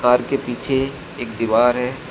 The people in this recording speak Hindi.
पार्क के पीछे एक दीवार है।